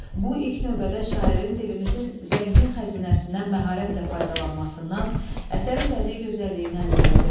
Bu ilk növbədə şairin dilimizin zəngin xəzinəsindən məharətlə faydalanmasından, əsərin bədii gözəlliyindən irəli gəlir.